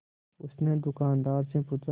उसने दुकानदार से पूछा